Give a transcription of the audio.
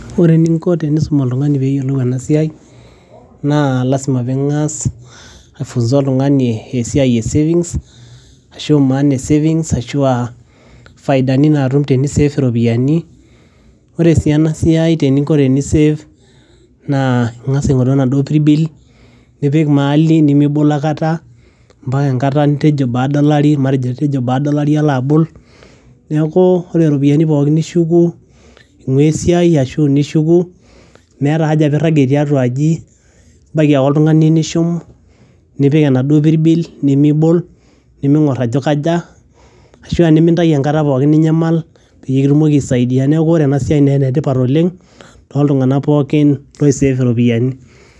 ore eninko tenisum oltung'ani peyiolou ena siai naa lasima ping'as ae funza oltung'ani esiai e savings ashu maana e savings ashua faidani natum teni save iropiyiani wore sii ena siai teninko teni save naa ing'as aing'oru enaduo pirbil nipik mahali nimibol akata ampaka enkata nitejo baada olari matejo itejo baada olari ilo abol niaku ore iropiyiani pookin nishuku ing'ua esiai ashu nishuku meeta haja pirragie tiatua aji ibaiki ake oltung'ani nishum nipik enaduo pirbil nimibol niming'orr ajo kaja ashua nimintai enkata pookin ninyamal peyie kitumoki aisaidia neku ore ena siai naa enetipat oleng toltung'anak pookin loi save iropiyiani.